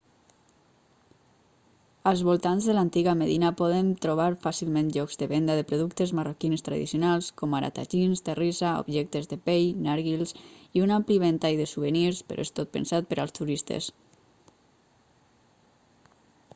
als voltants de l'antiga medina podem trobar fàcilment llocs de venda de productes marroquins tradicionals com ara tajins terrissa objectes de pell narguils i un ampli ventall de souvenirs però és tot pensat per als turistes